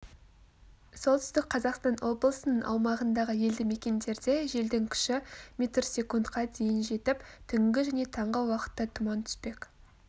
солтүстік қазақстан облысының аумағындағы елді-мекендерде желдің күші мі дейін жетіп түнгі және таңғы уақытта тұман түспек